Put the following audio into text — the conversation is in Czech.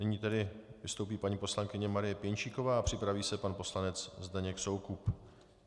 Nyní tedy vystoupí paní poslankyně Marie Pěnčíková a připraví se pan poslanec Zdeněk Soukup.